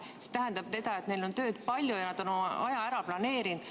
See tähendab seda, et neil on tööd palju ja nad on oma aja ära planeerinud.